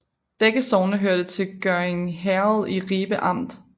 Begge sogne hørte til Gørding Herred i Ribe Amt